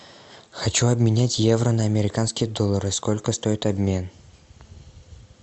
хочу обменять евро на американские доллары сколько стоит обмен